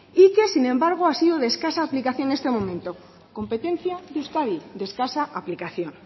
y que sin embargo ha sido de escasa aplicación en este momento competencia de euskadi de escasa aplicación